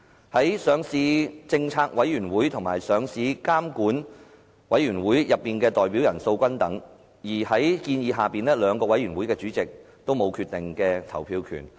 在上市政策委員會及上市監管委員會內的代表人數均等，而在建議之下，兩個委員會的主席都沒有決定投票權。